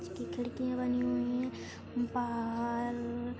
उसकी खिड़कियां बनी हुयी है बहार --